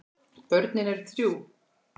Börnin eru þrjú.